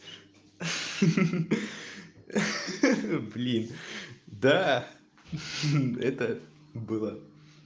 ха-ха блин да это было